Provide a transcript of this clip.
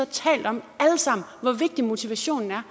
talt om alle sammen hvor vigtigt motivation er